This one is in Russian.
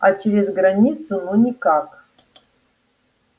а через границу ну никак